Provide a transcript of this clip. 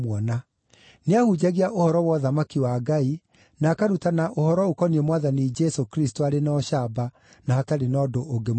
Nĩahunjagia ũhoro wa ũthamaki wa Ngai, na akarutana ũhoro ũkoniĩ Mwathani Jesũ Kristũ arĩ na ũcamba, na hatarĩ na ũndũ ũngĩmũrigĩrĩria.